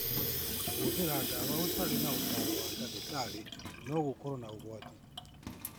Kũhũthĩra ndawa ũtarĩ na ũtaaro wa ndagĩtarĩ no gũkorũo na ũgwati.